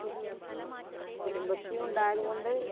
കുടുംബശ്രീ ഉണ്ടായതുകൊണ്ട്